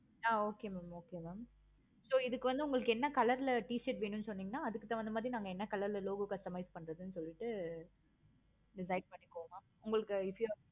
ஆஹ் okay mam okay mam இதுக்கு வந்து உங்களுக்கு என்ன color ல t-shirt வேணும்னு சொன்னிங்கன்னா so அதுக்கு தகுந்த மாதிரி logo customise பண்றதுனு சொல்லிட்டு decide பண்ணிக்கோங்க mam உங்களுக்கு